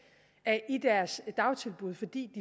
i deres dagtilbud fordi